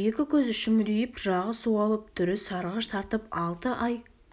екі көзі шүңірейіп жағы суалып түрі сарғыш тартып алты ай